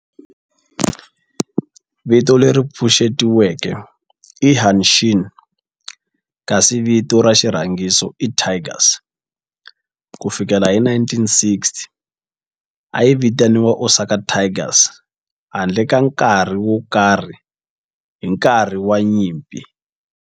Vito leri pfuxetiweke i Hanshin kasi vito ra xirhangiso i Tigers. Ku fikela hi 1960, a yi vitaniwa Osaka Tigers handle ka nkarhi wo karhi hi nkarhi wa nyimpi.